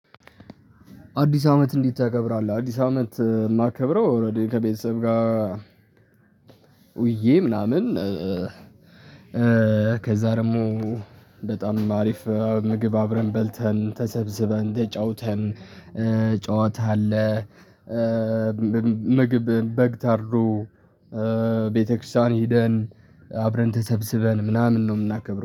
አዲስ አመት እንዲት ታከብራለህ? አዲስ አመት ማከብረው ኦሬዲ ከቤተሰብ ጋ ውዬ ምናምን። ከዛ ደግሞ በጣም አሪፍ ምግብ አብረን በልተን ተሰብስበን ተጫውተን ጨዋታ አለ። ምግብ በግ ታርዶ። ቤተክርስቲያን ሄደን አብረን ተሰብስበን ምናምን ነው የምናከብረው